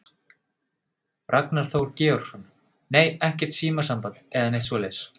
Ragnar Þór Georgsson: Nei, ekkert símasamband eða neitt svoleiðis?